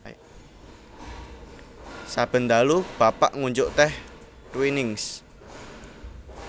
Saben dalu Bapak ngunjuk teh Twinings